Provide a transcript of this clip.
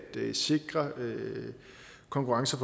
sikre konkurrence